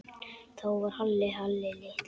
Þá var Halli Halli litli.